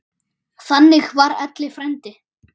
Þannig var Elli frændi.